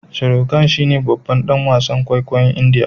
Sharukan shine babban dan wasan kwaikwayon indiya